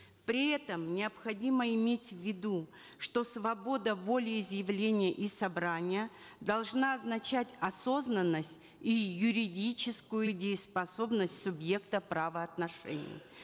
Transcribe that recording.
при этом необходимо иметь в виду что свобода волеизъявления и собрания должна означать осознанность и юридическую дееспособность субъекта правоотношений